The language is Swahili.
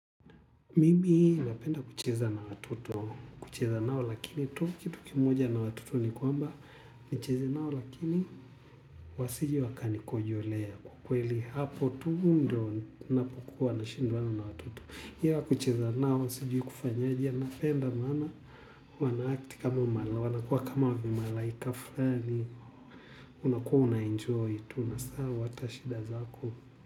Mimi napenda kucheza na watoto, kucheza nao lakini tu kitu kimoja na watoto ni kwamba, nicheze nao lakini wasije wakanikojolea kwa kweli hapo tu ndyo ninapokuwa nashindwana na watoto. Iwa kucheza nao, siijui kufanya aje, napenda maana, wanaakti kama mala, wanakuwa kama vimalaika flani, unakuwa unaenjoy tu unasahau hata shida zako.